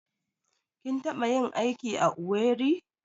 Kin taɓa yin aiki a Owerri?